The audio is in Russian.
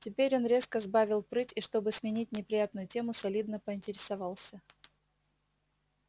теперь он резко сбавил прыть и чтобы сменить неприятную тему солидно поинтересовался